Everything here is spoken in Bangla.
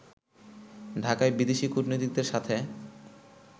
ঢাকায় বিদেশী কূটনীতিকদের সাথে